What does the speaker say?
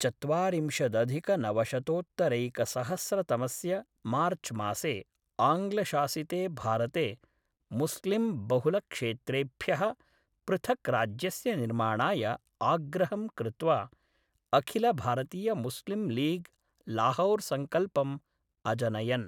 चत्वारिंशदधिकनवशतोत्तरैकसहस्रतमस्य मार्चमासे आङ्ग्लशासिते भारते मुस्लिंबहुलक्षेत्रेभ्यः पृथक् राज्यस्य निर्माणाय आग्रहं कृत्वा अखिलभारतीयमुस्लिंलीग् लाहौरसङ्कल्पम् अजनयन्।